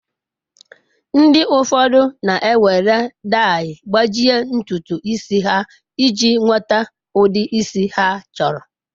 Ndi ụfọdụ na ewere dai gbajie ntutu isi ha iji nweta ụdi isi ha chọrọ.